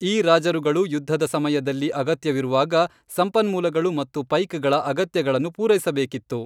ಈ ರಾಜರುಗಳು ಯುದ್ಧದ ಸಮಯದಲ್ಲಿ ಅಗತ್ಯವಿರುವಾಗ ಸಂಪನ್ಮೂಲಗಳು ಮತ್ತು ಪೈಕ್ಗಳ ಅಗತ್ಯಗಳನ್ನು ಪೂರೈಸಬೇಕಾಗಿತ್ತು.